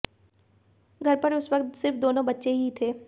घर पर उस वक्त सिर्फ दोनों बच्चे ही थे